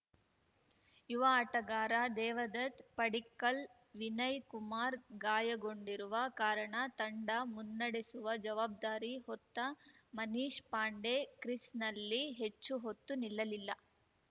ಯುವ ಆಟಗಾರ ದೇವದತ್‌ ಪಡಿಕ್ಕಲ್‌ ವಿನಯ್‌ ಕುಮಾರ್ ಗಾಯಗೊಂಡಿರುವ ಕಾರಣ ತಂಡ ಮುನ್ನಡೆಸುವ ಜವಾಬ್ದಾರಿ ಹೊತ್ತ ಮನೀಶ್‌ ಪಾಂಡೆ ಕ್ರೀಸ್‌ನಲ್ಲಿ ಹೆಚ್ಚು ಹೊತ್ತು ನಿಲ್ಲಲಿಲ್ಲ